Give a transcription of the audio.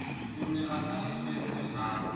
o ne a hlahafetse ha